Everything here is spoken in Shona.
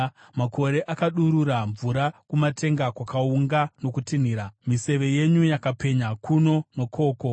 Makore akadurura mvura, kumatenga kwakaunga nokutinhira; miseve yenyu yakapenya kuno nokoko.